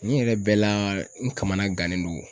Nin yɛrɛ bɛɛ la n kamana gannen don.